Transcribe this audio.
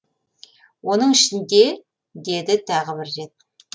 оның ішінде деді тағы бір рет